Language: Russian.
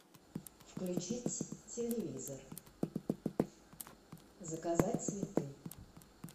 включить телевизор заказать цветы